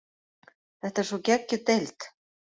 Þetta er svo geggjuð deild.